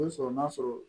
sɔrɔ n'a sɔrɔ